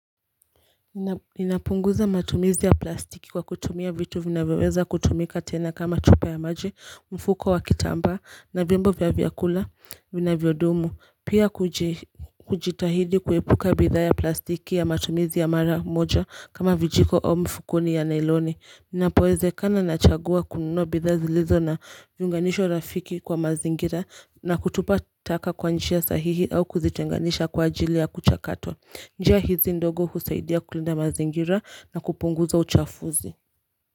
Ninapunguza matumizi ya plastiki kwa kutumia vitu vinavyoweza kutumika tena kama chupa ya maji, mfuko wa kitamba na vyombo vya vyakula vinavyo dumu Pia kujitahidi kuepuka bidha ya plastiki ya matumizi ya mara moja kama vijiko au mfukuni ya nailoni Ninapoeze kana nachagua kununua bidha zilizo na viunganisho rafiki kwa mazingira na kutupa taka kwa njia sahihi au kuzitenganisha kwa ajili ya kucha katwa njia hizi ndogo husaidia kulinda mazingira na kupunguza uchafuzi.